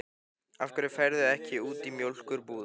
Af hverju ferðu ekki út í mjólkur- búð?